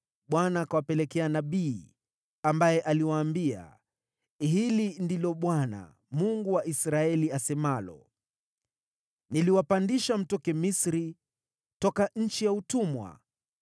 Bwana akawapelekea nabii, ambaye aliwaambia, “Hili ndilo Bwana , Mungu wa Israeli, asemalo: Niliwapandisha mtoke Misri, toka nchi ya utumwa.